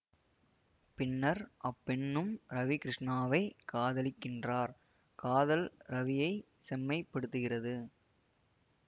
பின்னர் அப்பெண்ணும் ரவி கிருஷ்ணாவைக் காதலிக்கின்றார் காதல் ரவியை செம்மைப்படுத்துகிறது